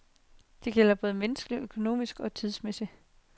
Det gælder både menneskeligt, økonomisk og tidsmæssigt.